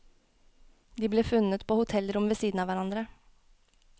De ble funnet på hotellrom ved siden av hverandre.